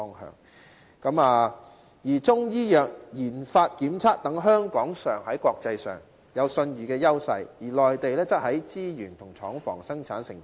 香港在中醫藥研發檢測等方面，享有國際信譽優勢，而內地則有資源及廠房，可以生產製成品。